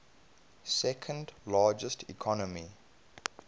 second largest economy